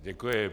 Děkuji.